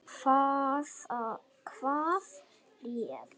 Hvað réð?